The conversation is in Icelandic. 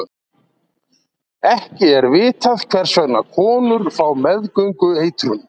Ekki er vitað hvers vegna konur fá meðgöngueitrun.